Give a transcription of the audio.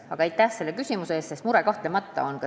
Aga aitäh selle küsimuse eest – see mure kahtlemata on.